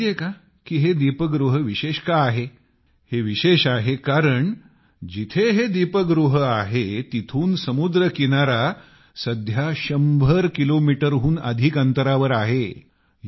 आपणास माहित आहे का की हे दीपगृह विशेष का आहे हे विशेष आहे कारण जिथे हे दीपगृह आहे तेथून समुद्री किनारा सध्या शंभर किलोमीटरहून अधिक अंतरावर आहे